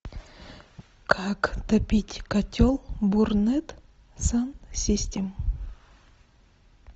как топить котел бурнет сан систем